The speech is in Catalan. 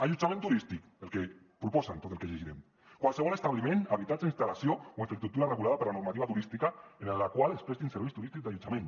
allotjament turístic el que proposen tot el que llegirem qualsevol establiment habitatge instal·lació o infraestructura regulada per la normativa turística en la qual es prestin serveis turístics d’allotjament